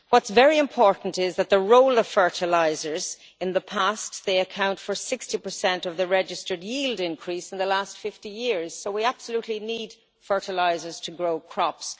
What is very important is that fertilisers in the past account for 60 of the registered yield increase in the last 50 years, so we absolutely need fertilisers to grow crops.